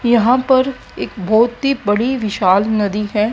यहां पर एक बहुत ही बड़ी विशाल नदी है।